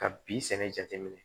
Ka bi sɛnɛ jateminɛ